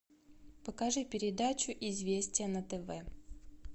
покажи передачу известия на тв